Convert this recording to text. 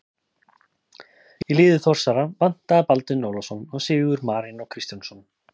Í liði Þórsara vantaði Baldvin Ólafsson og Sigurð Marinó Kristjánsson.